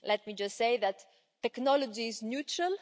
Let me just say that technology is neutral.